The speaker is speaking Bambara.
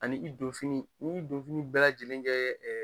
Ani i don fini, i bi donfini bɛɛ lajɛlenkɛ